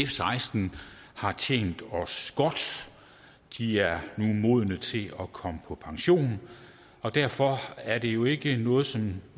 seksten har tjent os godt de er nu modne til at komme på pension og derfor er det jo ikke noget som